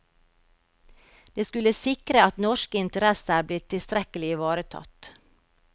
Det skulle sikre at norske interesser ble tilstrekkelig ivaretatt.